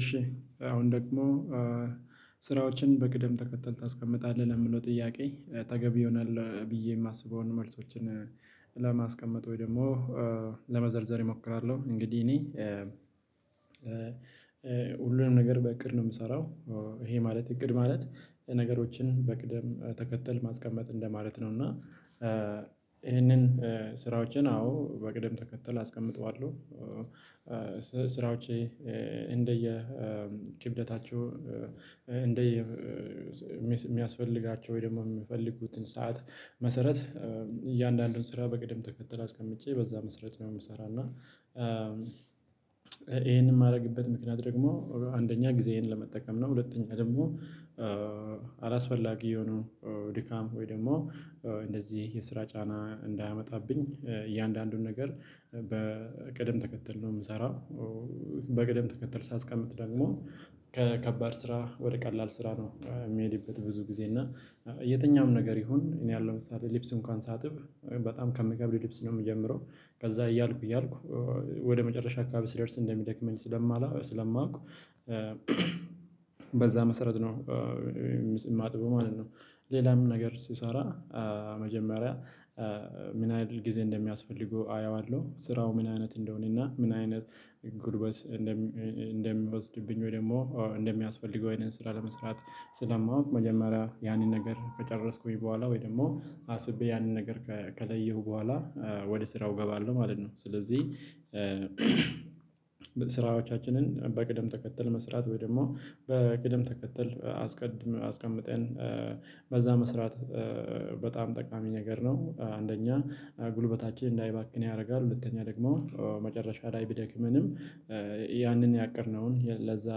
እሺ አሁን ደግሞ ስራዎችን በቅደም ተከተል ታስቀምጣለህ? ለሚለው ጥያቄ ተገቢ ይሆናል ብዬ የማስበውን መልሶችን ለማስቀመጥ ወይ ደግሞ ለመዘርዘር እሞክራለሁ። እንግዲህ እኔ ሁሉንም ነገር በእቅድ ነው የምሰራው። ይሄ ማለት እቅድ ማለት ነገሮችን በቅደም ተከተል ማስቀመጥ እንደማለት ነው። እና ይህንን ስራዎቼን አዎ በቅደም ተከተል አስቀምጠዋለሁ። ስ ስራዎቼ እንደየ ክብደታቸው እንደየ የሚስ ሚያስፈልጋቸው ወይ ደግሞ የምፈልጉትን ሰዓት መሰረት እያንዳንዱን ስራ በቅደም ተከተል አስቀምጬ በዛ መስራት ነው። የምሰራ እና ይሄንን የማደርግበት ምክንያት ደግሞ አንደኛ ጊዜዬን ለመጠቀም ነው። ሁለተኛ ደግሞ አላስፈላጊ የሆነው ድካም ወይ ደግሞ እንደዚህ የስራ ጫና እንዳያመጣብኝ እያንዳንዱን ነገር በቅደም ተከተል ነው የምሰራው። በቅደም ተከተል ሳስቀምጥ ደግሞ ከከባድ ስራ ወደ ቀላል ስራ ነው የሚሄድበት ብዙ ጊዜ እና የትኛውም ነገር ይሁን እኔ ያለው ለምሳሌ ልብስ እንኳን ሳጥብ በጣም ከምገብድ ሊፕስ ነው የምጀምረው። ከዛ እያልኩ እያልኩ ወደ መጨረሻ አካባቢ ስደርስ እንደሚደክመኝ ስለማላው ስለማውቅ አላስፈላጊ የሆነው ድካም ወይ ደግሞ እንደዚህ የስራ ጫና እንዳያመጣብኝ እያንዳንዱን ነገር በቅደም ተከተል። ነው የምሰራው በቅደም ተከተል ሳስቀምጥ ደግሞ ከከባድ ስራ ወደ ቀላል ስራ ነው የሚሄድበት ብዙ ጊዜ እና እንደሚወስድብኝ ወይ ደግሞ እንደሚያስፈልገው ይሄንን ስራ ለመስራት ስለማውቅ መጀመሪያ ያንን ነገር ከጨረስኩኝ በኋላ ወይ ደግሞ አስቤ ያንን ነገር ከለየሁ በኋላ ወደ ስራው እገባለሁ ማለት ነው። ስለዚህ ስራዎቻችንን በቅደም ተከተል መስራት ወይ ደግሞ በቅደም ተከተል አስቀድም አስቀምጠን በዛ መስራት በጣም ጠቃሚ ነገር ነው። አንደኛ ጉልበታችን እንዳይባክን ያደርጋል ሁለተኛ ደግሞ መጨረሻ ላይ ቢደክምንም ያንን ያቀድነውን ለዛ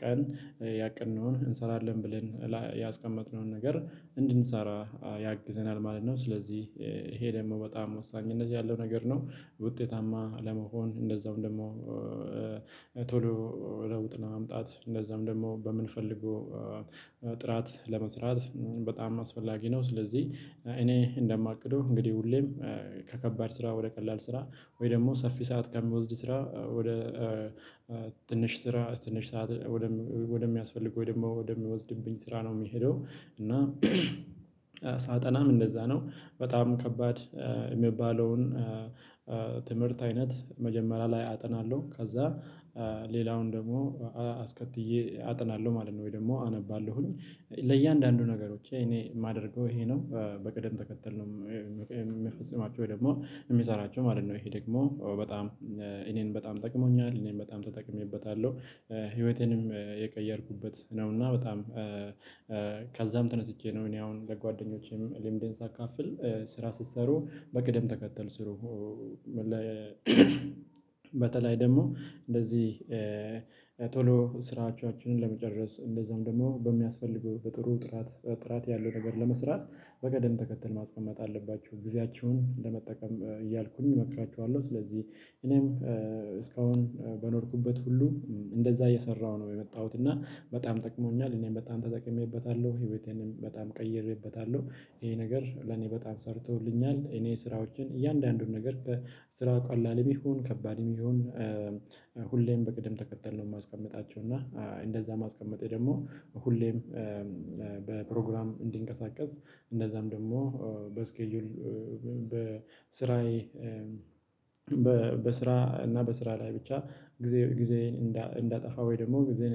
ቀን ያቀድነውን እንሰራለን ብለን ያስቀመጥነውን ነገር እንድንሰራ ያግዘናል ማለት ነው። ስለዚህ ይሄ ደግሞ በጣም ወሳኝነት ያለው ነገር ነው። ውጤታማ ለመሆን እንደዛውም ደግሞ ቶሎ ለውጥ ለማምጣት እንደዛውም ደግሞ በምንፈልገው ጥራት ለመስራት በጣም አስፈላጊ ነው። ስለዚህ እኔ እንደማቅደው እንግዲህ ሁሌም ከከባድ ስራ ወደ ቀላል ስራ ወይ ደግሞ ሰፊ ሰዓት ከሚወስድ ስራ ወደ ስራ ትንሽ ሰዓት ወደሚያስፈልገው ወይ ደግሞ ወደሚወስድብኝ ስራ ነው የሚሄደው። እና ሳጠናም እንደዛ ነው። በጣም ከባድ የሚባለውን ትምህርት አይነት መጀመሪያ ላይ አጠናለሁ ከዛ ሌላውን ደግሞ አስከትዬ አጠናለሁ ማለት ነው። ወይ ደግሞ አነባለሁኝ ለእያንዳንዱ ነገሮች እኔ የማደርገው ይሄ ነው። በቅደም ተከተል ነው የምፈጽማቸው ወይ ደግሞ የምሰራቸው ማለት ነው። ይሄ ደግሞ በጣም እኔን በጣም ጠቅሞኛል እኔም በጣም ተጠቅሜበታለሁ። ህይወቴንም የቀየርኩበት ነው። እና በጣም ከዛም ተነስቼ ነው እኔ አሁን ለጓደኞቼም ልምዴን ሳካፍል ስራ ስትሰሩ በቅደም ተከተል ስሩ። በተለይ ደግሞ እንደዚህ ቶሎ ስራዎቻችንን ለመጨረስ እንደዛም ደግሞ በሚያስፈልገው በጥሩ ጥራት ጥራት ያለው ነገር ለመስራት በቅደም ተከተል ማስቀመጥ አለባችሁ ጊዜያችሁን ለመጠቀም እያልኩኝ እመክራችኋለሁ። ስለዚህ እኔም እስካሁን በኖርኩበት ሁሉ እንደዛ እየሰራሁ ነው የመጣሁት እና በጣም ጠቅሞኛል እኔም በጣም ተጠቅሜበታለሁ ህይወቴንም በጣም ቀይሬበታለሁ። ይሄ ነገር ለኔ በጣም ሰርቶልኛል። እኔ ስራዎችን እያንዳንዱን ነገር ስራው ቀላልም ይሁን ከባድም ይሁን ሁሌም በቅድም ተከተል ነው የማስቀምጣቸው። እና እንደዛ ማስቀመጤ ደግሞ ሁሌም በፕሮግራም እንድንቀሳቀስ እንደዛም ደግሞ በስኬጁል በስራዬ በስራ እና በስራ ላይ ብቻ ጊዜ ጊዜዬን እንዳጠፋ ወይ ደግሞ ጊዜዬን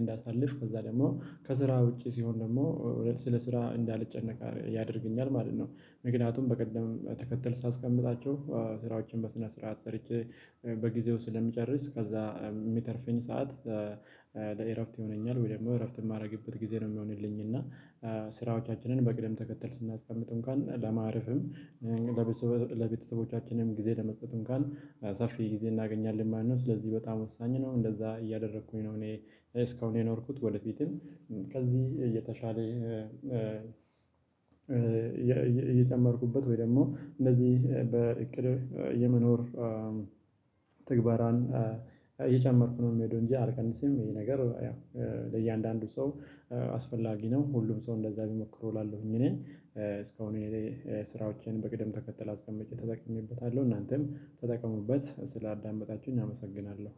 እንዳሳልፍ ከዛ ደግሞ ከስራ ውጪ ሲሆን ደግሞ ስለ ስራ እንዳለጨነቀ ያደርገኛል ማለት ነው። ምክንያቱም በቅደም ተከተል ስለማስቀምጣቸው ስራዎችን በስነ ስርዓት ሰርቼ በጊዜው ስለምጨርስ ከዛ የሚተርፍኝ ሰዓት ለእረፍት ይሆነኛል ወይ ደግሞ እረፍት የማደርግበት ጊዜ ነው የሚሆንልኝ። እና ስራዎቻችንን በቅደም ተከተል ስናስቀምጥ እንኳን ለማረፍም ለቤተሰቦቻችንም ጊዜ ለመስጠት እንኳን ሰፊ ጊዜ እናገኛለን። ማን ነው ስለዚህ በጣም ወሳኝ ነው። እንደዛ እያደረኩኝ ነው እኔ እስካሁን የኖርኩት ወደፊትም ከዚህ የተሻለ እየጨመርኩበት ወይ ደግሞ እነዚህ በእቅዴ የመኖር ትግበራን እየጨመርኩ ነው የምሄደው። እንጂ አልቀንስም ነገር ያው ለእያንዳንዱ ሰው አስፈላጊ ነው። ሁሉም ሰው እንደዛ ቢሞክሩ እላለሁኝ። እኔ እስካሁን እኔ ስራዎቼን በቅደም ተከተል አስቀምጬ ተጠቅሜበታለሁ እናንተም ተጠቀሙበት ስላዳመጣችሁኝ አመሰግናለሁ።